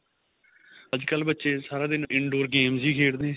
ਅੱਜਕਲ ਬੱਚੇ ਸਾਰਾ ਦਿਨ indoor games ਹੀ ਖੇਡਦੇ ਏ